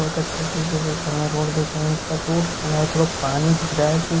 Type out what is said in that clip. बहोत अच्छे से इसे देख रही है रोड देख रही पर रोड के किनारे थोड़ा पानी दिख रहा जो--